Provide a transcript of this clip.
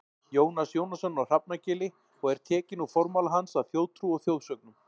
Jónas Jónasson á Hrafnagili og er tekinn úr formála hans að Þjóðtrú og þjóðsögnum.